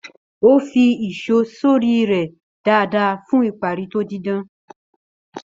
Ó fi ìṣó sórí rẹ́ dáadáa fún ìparí tó didan.